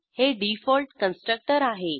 हे default constructor आहे